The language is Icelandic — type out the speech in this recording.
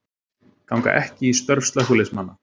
Ganga ekki í störf slökkviliðsmanna